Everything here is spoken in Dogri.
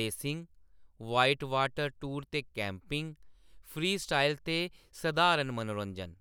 रेसिंग, वाइटवाटर टूर ते कैम्पिंग, फ्रीस्टाइल ते सधारण मनोरंजन।